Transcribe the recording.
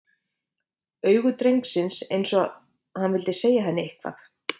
Augu drengsins, eins og hann vildi segja henni eitthvað.